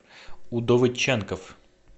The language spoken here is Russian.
удовыдченков